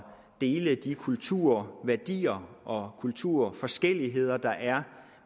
dele de kulturværdier og kulturforskelligheder der er